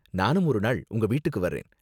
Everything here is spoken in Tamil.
நானும் ஒரு நாள் உங்க வீட்டுக்கு வர்றேன்.